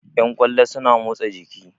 Yan ƙwallo suna motsa jiki